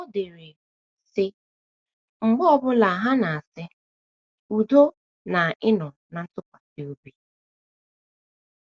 O dere, sị: “ Mgbe ọ bụla ha na - asị: ‘ Udo na ịnọ ná ntụkwasị obi! ’